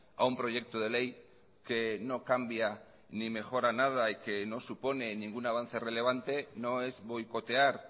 a un proyecto de ley que no cambia ni mejora nada y que no supone ningún avance relevante no es boicotear